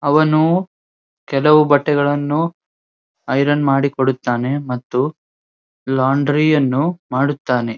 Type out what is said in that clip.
ಅವನು ಕೆಲವು ಬಟ್ಟೆಗಳನ್ನು ಐರನ್ ಮಾಡಿಕೊಡುತ್ತಾನೆ ಮತ್ತು ಲೋಂಡ್ರಿಯನ್ನು ಮಾಡುತ್ತಾನೆ.